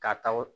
K'a ta o